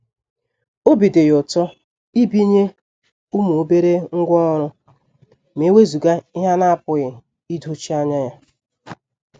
Obi dị ya ụtọ ibinye ụmụ obere ngwá ọrụ ma ewezuga ihe a na-apụghị idochie anya ya.